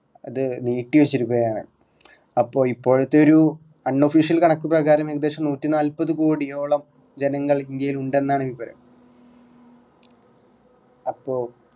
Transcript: അത് നീട്ടി വെച്ചിരിക്കുക ആണ് അപ്പൊ ഇപ്പോഴത്തെ ഒരു unofficial കണക്ക് പ്രകാരം ഏകദേശം നൂറ്റിനാല്പത് കോടിയോളം ജനങ്ങൾ ഇന്ത്യയിൽ ഉണ്ടെന്നാണ് വിവരം അപ്പോ